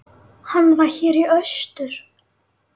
Hann var hér í austur.